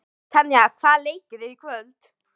Tanja, hvaða leikir eru í kvöld?